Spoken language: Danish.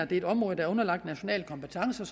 det er et område der er underlagt national kompetence